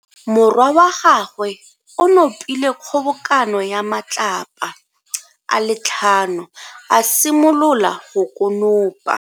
Morwa wa gagwe o nopile kgobokano ya matlapa a le tlhano, a simolola go konopa.